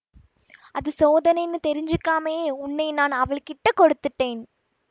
அது சோதனைன்னு தெரிஞ்சுக்காமே உன்னை நான் அவள் கிட்டக் கொடுத்துட்டேன்